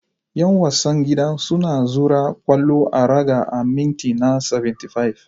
Yan wasan gida sun zura kwallo a raga a minti na 75.